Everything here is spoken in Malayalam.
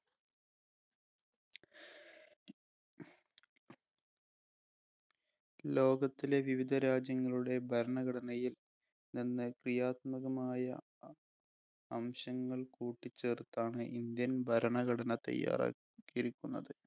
ലോകത്തിലെ വിവിധ രാജ്യങ്ങളുടെ ഭരണഘടനയില്‍ നിന്ന് ക്രിയാത്മകമായ അ അംശങ്ങൾ കൂട്ടിച്ചേർത്താണ് Indian ബരണഘടന തയ്യാറാക്കിയിരിക്കുന്നത്.